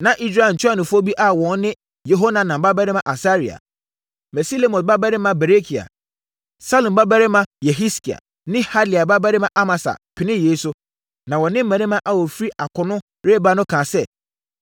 Na Israel ntuanofoɔ bi a wɔn ne Yehohanan babarima Asaria, Mesilemot babarima Berekia, Salum babarima Yehiskia ne Hadlai babarima Amasa penee yei so, na wɔne mmarima a wɔfiri akono reba no kaa sɛ,